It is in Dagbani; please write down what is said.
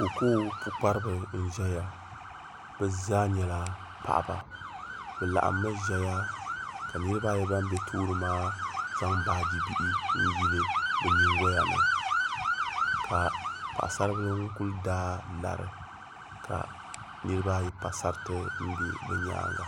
Kookoo pukpariba n ʒɛya bɛ zaa nyɛla paɣaba bɛ laɣimi ʒɛya ka niriba ayi ban be tooni maa zaŋ baaji bihi yili bɛ nyingoya ni ka baɣasaribila kuli daa lari ka niriba ayi pa sariti m be bɛ nyaanga.